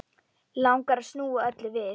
Langar að snúa öllu við.